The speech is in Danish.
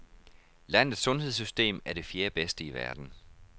Landets sundhedssystem er det fjerde bedste i verden.